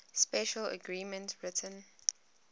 special arrangements written